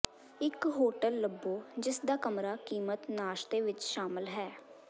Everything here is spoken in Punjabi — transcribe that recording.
ਇੱਕ ਹੋਟਲ ਲੱਭੋ ਜਿਸਦਾ ਕਮਰਾ ਕੀਮਤ ਨਾਸ਼ਤੇ ਵਿੱਚ ਸ਼ਾਮਲ ਹੈ